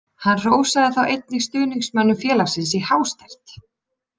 Hann hrósaði þá einnig stuðningsmönnum félagsins í hástert.